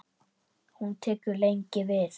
Hún tekur lengi við.